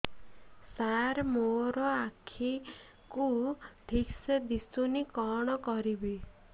ସାର ମୋର ଆଖି କୁ ଠିକସେ ଦିଶୁନି କଣ କରିବି